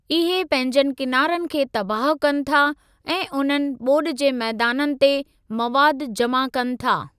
इहे पंहिंजनि किनारनि खे तबाहु कनि था ऐं उन्हनि ॿोॾि जे मैदाननि ते मवादु जमा कनि था।